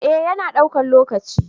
eh ya na daukan lokaci